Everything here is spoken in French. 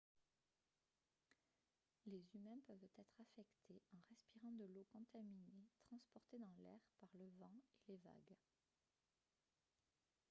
les humains peuvent être affectés en respirant de l'eau contaminée transportée dans l'air par le vent et les vagues